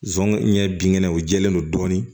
Zon ɲɛ binkɛnɛw jɛlen don dɔɔnin